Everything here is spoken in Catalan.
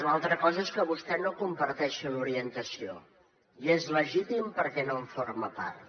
una altra cosa és que vostè no comparteixi l’orientació i és legítim perquè no en forma part